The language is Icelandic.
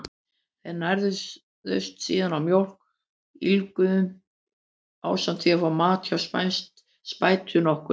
Þeir nærðust síðan á mjólk úlfynju, ásamt því að fá mat hjá spætu nokkurri.